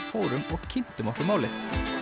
fórum og kynntum okkur málið